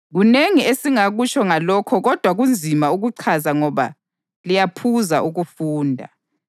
Kunengi esingakutsho ngalokho kodwa kunzima ukuchaza ngoba liyaphuza ukufunda.